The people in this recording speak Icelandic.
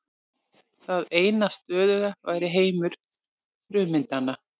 Það eina stöðuga væri heimur frummyndanna.